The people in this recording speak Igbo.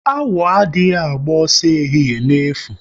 Awọ adị agba ọsọ ehihie n'efu